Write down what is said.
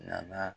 Nana